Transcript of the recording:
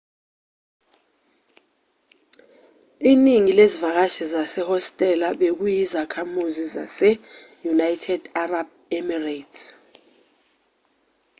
iningi lezivakashi zehostela bekuyizakhamuzi zase-united arab emirates